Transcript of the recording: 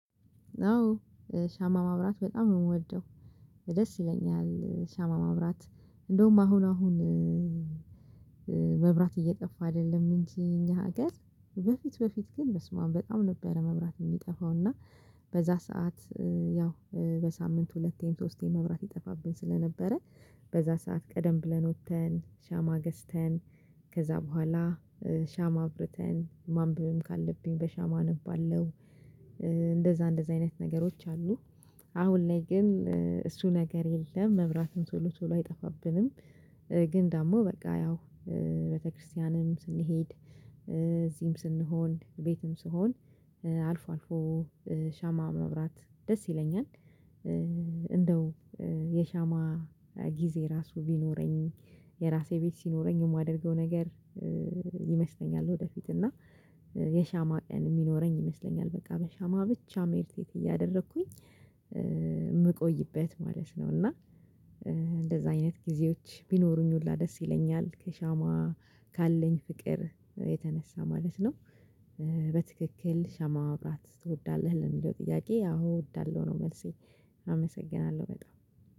አዎ ሻማ ማብራት በጣም ነው የምወደው። ደስ ይለኛል ሻማ ማብራት እንደውም አሁን አሁን መብራት እየጠፋ አይደለም እንጂ እኛ አገር በፊት በፊት ግን በስማም በጣም ነበረ መብራት የሚጠፋው እና በዛ ሰዓት ያው በሳምንት ሁለቴም ሶስቴም መብራት ይጠፋብን ስለነበረ በዛ ሰዓት ቀደም ብለን ወጥተን ሻማ ገዝተን ከዛ በኋላ ሻማ አብረተን ማንበብም ካለብኝ በሻማ አነባለሁ እንደዛ እንደዛ አይነት ነገሮች አሉ። አሁን ላይ ግን እሱ ነገር የለም መብራትም ቶሎ ቶሎ አይጠፋብንም። ግን ደግሞ በቃ ያው ቤተክርስቲያንም ስንሄድ እዚህም ስንሆን ቤትም ስሆን አልፎ አልፎ ሻማ መብራት ደስ ይለኛል። እንደው የሻማ ጊዜ ራሱ ቢኖረኝ የራሴ ቤት ሲኖረኝ የማደርገው ነገር ይመስለኛል ወደፊት እና የሻማ ቀን የሚኖረኝ ይመስለኛል በቃ በሻማ ብቻ ሜዲቴት እያደረኩኝ የምቆይበት ማለት ነው። እና እንደዛ አይነት ጊዜዎች ቢኖሩኝ ሁላ ደስ ይለኛል ከሻማ ካለኝ ፍቅር የተነሳ ማለት ነው። በትክክል ሻማ ማብራት ትወዳለህ ለሚለው ጥያቄ አዎ እወዳለሁ ነው መልሴ። አመሰግናለሁ በጣም